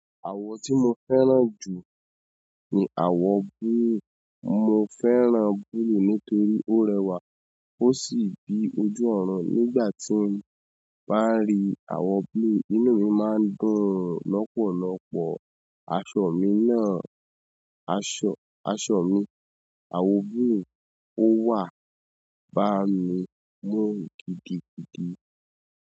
Àwọ̀ tí mo fẹ́ràn jù ni àwọ̀ gúú. Mo fẹ́ràn búlú nítorí ó rẹwà ó sì bí ojú ọ̀run. Nígbà tí mo bá ń ri àwọ̀ búlú, inú mi máa ń dùn lọ́pọ̀lọ́pọ̀. Aṣọ mi náà, aṣọ, aṣọ mi àwọ̀ gúú ó wà, bá mi mu gidigidi.